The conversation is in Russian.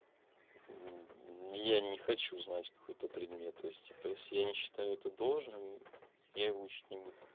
я не хочу знать какой-то предмет то есть я не считаю это должным я его учить не буду